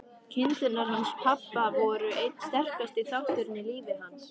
Kindurnar hans pabba voru einn sterkasti þátturinn í lífi hans.